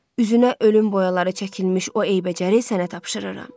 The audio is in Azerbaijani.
Üzünə ölüm boyaları çəkilmiş o eybəcəri sənə tapşırıram.